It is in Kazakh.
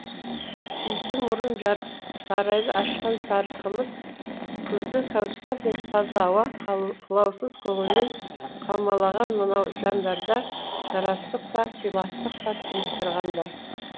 иісі мұрын жарып сарайды ашқан сары қымыз күзгі кәусардай таза ауа қылаусыз көңілмен қаумалаған мынау жандарда жарастық та сыйластық та тұнып тұрғандай